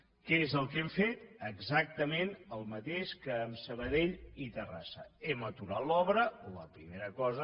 què és el que hem fet exactament el mateix que amb sabadell i terrassa hem aturat l’obra la primera cosa